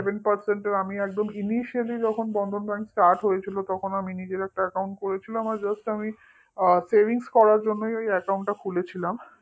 seven percent এর আমি একদম ly যখন bandhan bank start হয়েছিল তখন আমি নিজের একটা account করেছিলাম আর just আমি savings করার জন্যই ওই account টা খুলেছিলাম